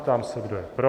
Ptám se, kdo je pro.